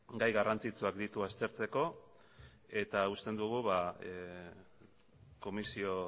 gai garrantzitsuak ditu aztertzeko eta uste dugu komisio